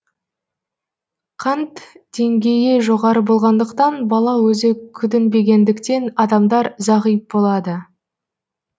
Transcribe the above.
қант деңгейі жоғары болғандықтан бала өзі күтінбегендіктен адамдар зағип болады